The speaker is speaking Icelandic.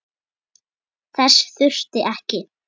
Þess þurfti ekki.